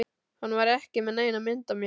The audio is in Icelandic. Hann var ekki með neina mynd af mér